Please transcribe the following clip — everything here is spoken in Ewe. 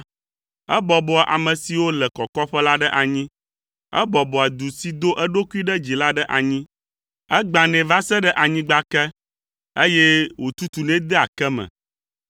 Ebɔbɔa ame siwo le kɔkɔƒe la ɖe anyi, ebɔbɔa du si do eɖokui ɖe dzi la ɖe anyi. Egbãnɛ va se ɖe anyigba ke, eye wòtutunɛ dea ke me.